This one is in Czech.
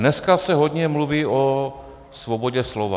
Dneska se hodně mluví o svobodě slova.